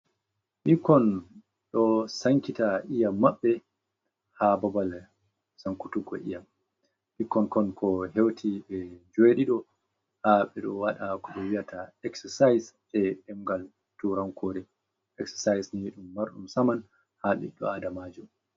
Ɓikkon ɗo Sankita Iyam Mabɓe, ha Babal Sankutugo Iyam, Ɓikkon kon ko Heuti ɓe Njeɗiɗo ha ɓe ɗo Waɗa ko ɗo Wiyata Eksasayis Eɗemngal Turankore, Eksasayisni ɗum Marɗum Saman ha Ɓidɗo Adamajo.